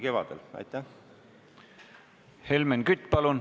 Helmen Kütt, palun!